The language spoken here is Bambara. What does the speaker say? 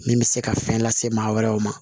Min bɛ se ka fɛn lase maa wɛrɛw ma